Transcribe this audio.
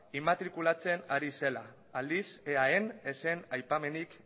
inmatrikulatzen ari zela aldiz eaen ez zen aipamenik